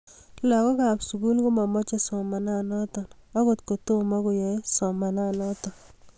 lagookab sugul komamache somananato agot kotomo koyae somananatok